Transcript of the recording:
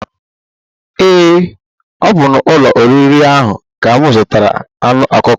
Ee ọ bu n'ụlọ oriri ahụ ka mụ zụtara anụ ọkụkọ